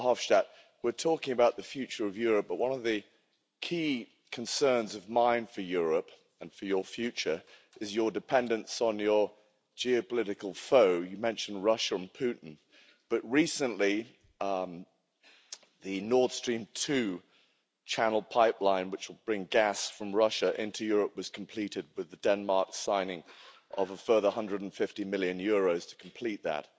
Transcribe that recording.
Mr Verhofstadt, we're talking about the future of Europe, but one of the key concerns of mine for Europe, and for your future, is your dependence on your geopolitical foe. You mentioned Russia and Putin, but recently the Nord Stream 2 channel pipeline, which will bring gas from Russia into Europe, was completed with the Denmark signing of a further EUR 150 million to complete that.